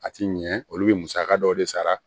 A ti ɲɛ olu bɛ musaka dɔw de sara